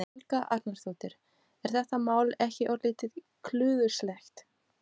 En hvað skal gera þegar það upplýsist hver uppljóstrarinn er?